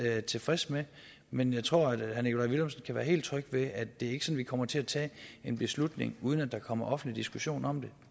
tilfreds med men jeg tror at herre nikolaj villumsen kan være helt tryg ved at det ikke vi kommer til at tage en beslutning uden at der kommer offentlig diskussion om